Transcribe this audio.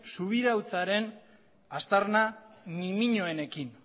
subiranotasunaren aztarna nimiñoenekin